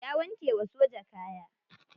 Ya wanke wa soja kaya.